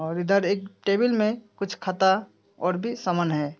और इधर एक टेबल में कुछ खाता और भी सामान है।